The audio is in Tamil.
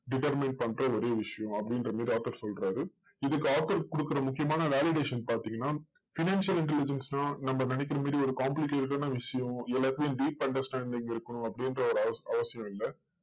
determine பண்ற ஒரே விஷயம் அப்படின்ற மாதிரி author சொல்றார். இதுக்கு author கொடுக்கற முக்கியமான validation பாத்தீங்கன்னா financial intelligence தான் நம்ம நினைக்கற மாதிரி ஒரு complicated ஆன விஷயம், எல்லாத்துலையும் ஒரு deep understanding இருக்கணும் அப்படின்னு அவ~அவசியம் இல்ல.